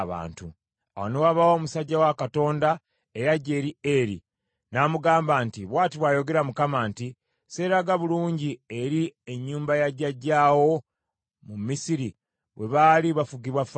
Awo ne wabaawo omusajja wa Katonda eyajja eri Eri, n’amugamba nti, “Bw’ati bw’ayogera Mukama nti, ‘Sseeraga bulungi eri ennyumba ya jjajjaawo mu Misiri bwe baali bafugibwa Falaawo?